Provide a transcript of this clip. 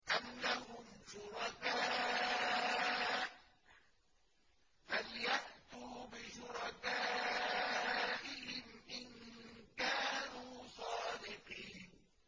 أَمْ لَهُمْ شُرَكَاءُ فَلْيَأْتُوا بِشُرَكَائِهِمْ إِن كَانُوا صَادِقِينَ